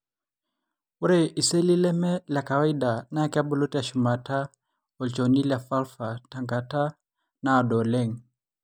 ore iseli leme lekawaida na kebulu teshumata elchoni le vulva tenkata nadoo oleng.